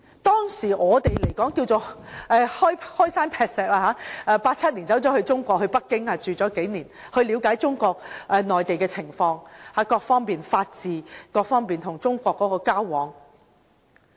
當時，我們可謂"開山劈石 "，1987 年到內地在北京居住數年，了解中國內地各方面的情況，例如法治，以及與中國交往。